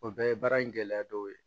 O bɛɛ ye baara in gɛlɛya dɔw ye